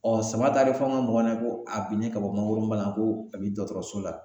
sama talen fɔ an ka mɔgɔ ɲɛna ko a binnen ka bɔ mangoro balan ko a bi dɔkɔtɔrɔso la